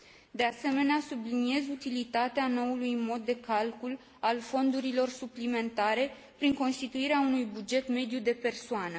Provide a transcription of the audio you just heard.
De asemenea, subliniez utilitatea noului mod de calcul al fondurilor suplimentare, prin constituirea unui buget mediu de persoană.